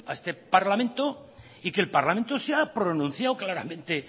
este parlamento y que el parlamento se ha pronunciado claramente